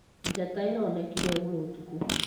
Njata ĩronekĩre ĩgũrũ ũtũkũ.